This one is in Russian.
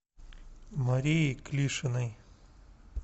марией клишиной